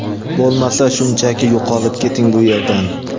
bo‘lmasa shunchaki yo‘qolib keting bu yerdan.